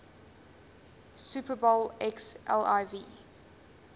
super bowl xliv